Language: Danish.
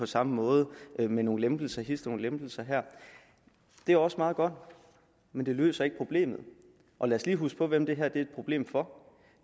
samme måde men med nogle lempelser hist og nogle lempelser her det er også meget godt men det løser ikke problemet og lad os lige huske på hvem det her er et problem for